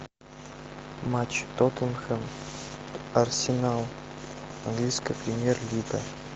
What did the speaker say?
матч тоттенхэм арсенал английская премьер лига